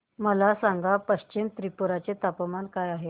मला सांगा पश्चिम त्रिपुरा चे तापमान काय आहे